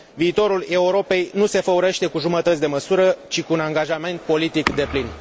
Viitorul Europei nu se făurește cu jumătăți de măsură, ci cu un angajament politic deplin.